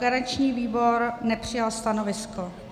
Garanční výbor nepřijal stanovisko.